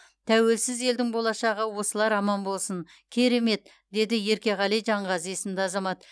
тәуелсіз елдің болашағы осылар аман болсын керемет деді еркеғали жанғазы есімді азамат